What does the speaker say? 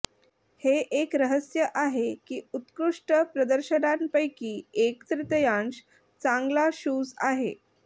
हे एक रहस्य आहे की उत्कृष्ट प्रदर्शनांपैकी एक तृतीयांश चांगला शूज आहे